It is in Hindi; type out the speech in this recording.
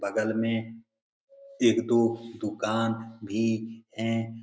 बगल में एक दो दूकान भी हैं।